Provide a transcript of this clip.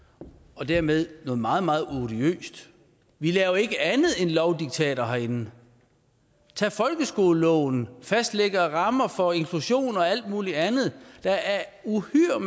og dermed noget meget meget odiøst vi laver ikke andet end lovdiktater herinde tag folkeskoleloven og fastlæggelsen af rammer for inklusion og alt muligt andet der er uhyre